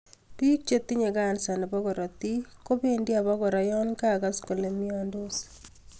Biik chetinye kansa nebo korotik kobendi aba kora yon kakas kole myondos